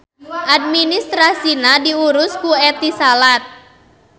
Administrasina diurus ku Etisalat.